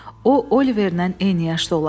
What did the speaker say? O Oliverlə eyni yaşda olardı.